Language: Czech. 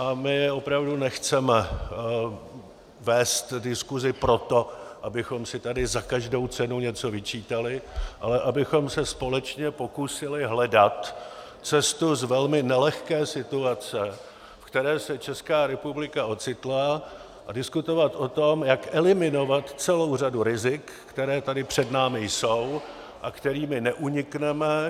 A my opravdu nechceme vést diskusi proto, abychom si tady za každou cenu něco vyčítali, ale abychom se společně pokusili hledat cestu z velmi nelehké situace, ve které se Česká republika ocitla, a diskutovat o tom, jak eliminovat celou řadu rizik, která tady před námi jsou a kterým neunikneme.